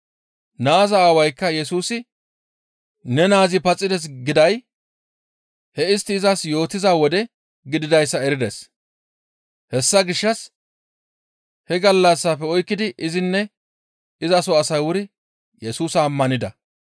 Naaza aawaykka Yesusi, «Ne naazi paxides» giday he istti izas yootiza wode gididayssa erides. Hessa gishshas he gallassafe oykkidi izinne izaso asay wuri Yesusa ammanida.